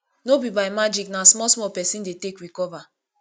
no be by magic na small small pesin dey take recover